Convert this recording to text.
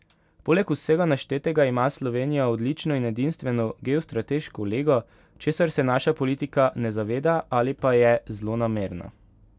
Poleg vsega naštetega ima Slovenija odlično in edinstveno geostrateško lego, česar se naša politika ne zaveda ali pa je zlonamerna.